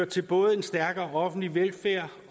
til både en stærkere offentlig velfærd